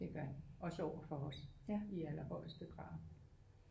Det gør den også overfor os i allerhøjeste grad